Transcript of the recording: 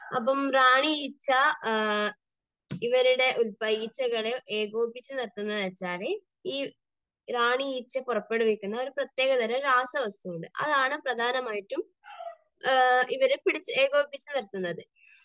അപ്പോൾ റാണി ഈച്ച ഇവരുടെ, ഈ ഈച്ചകളെ ഏകോപിപ്പിച്ചു നിർത്തുന്നു എന്ന് വച്ചാൽ റാണി ഈച്ച പുറപ്പെടുവിക്കുന്ന ഒരു പ്രത്യേകതരം രാസവസ്തുവുണ്ട്. അതാണ് പ്രധാനമായിട്ടും ഇവരെ പിടിച്ച്, ഏകോപിപ്പിച്ചു നിർത്തുന്നത്.